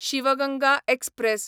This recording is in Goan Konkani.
शीव गंगा एक्सप्रॅस